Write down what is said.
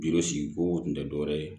sigi kow kun tɛ dɔwɛrɛ ye